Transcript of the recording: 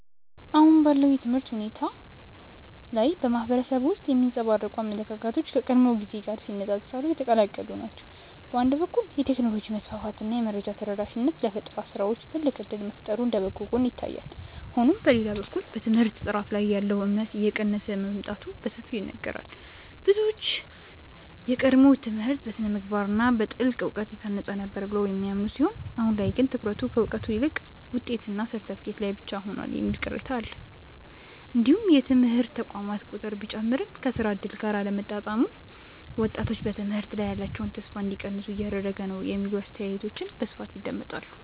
አሁን ባለው የትምህርት ሁኔታ ላይ በማህበረሰቡ ውስጥ የሚንጸባረቁ አመለካከቶች ከቀድሞው ጊዜ ጋር ሲነፃፀሩ የተቀላቀሉ ናቸው። በአንድ በኩል የቴክኖሎጂ መስፋፋት እና የመረጃ ተደራሽነት ለፈጠራ ስራዎች ትልቅ እድል መፍጠሩ እንደ በጎ ጎን ይታያል። ሆኖም በሌላ በኩል በትምህርት ጥራት ላይ ያለው እምነት እየቀነሰ መምጣቱ በሰፊው ይነገራል። ብዙዎች የቀድሞው ትምህርት በስነ-ምግባር እና በጥልቅ እውቀት የታነጸ ነበር ብለው የሚያምኑ ሲሆን አሁን ላይ ግን ትኩረቱ ከእውቀት ይልቅ ውጤትና ሰርተፍኬት ላይ ብቻ ሆኗል የሚል ቅሬታ አለ። እንዲሁም የትምህርት ተቋማት ቁጥር ቢጨምርም ከስራ እድል ጋር አለመጣጣሙ ወጣቶች በትምህርት ላይ ያላቸውን ተስፋ እንዲቀንሱ እያደረገ ነው የሚሉ አስተያየቶች በስፋት ይደመጣሉ።